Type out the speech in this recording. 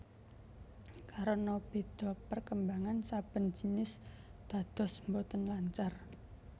Karena béda perkembangan saben jinis dados boten lancar